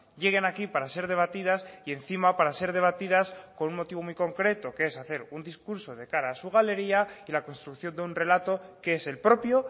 lleguen aquí para ser debatidas y encima para ser debatidas con un motivo muy concreto que es hacer un discurso de cara a su galería y la construcción de un relato que es el propio